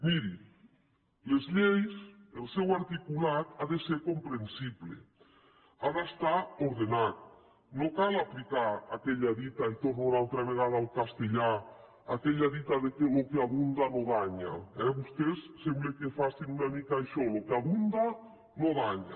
mirin les lleis el seu articulat ha de ser comprensible ha d’estar ordenat no cal aplicar aquella dita i torno una altra vegada al castellà aquella dita que lo que abunda no daña eh vostès sembla que facin una mica això lo que abunda no daña